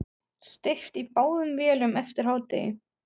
Steypt í báðum vélum eftir hádegi.